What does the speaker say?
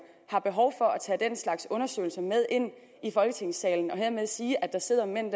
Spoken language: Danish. har behov for at tage den slags undersøgelser med ind i folketingssalen og dermed siger at der sidder mænd i